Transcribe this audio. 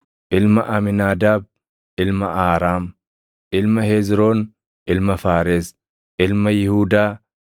ilma Amiinaadaab, ilma Aaraam, ilma Hezroon, ilma Faares, ilma Yihuudaa,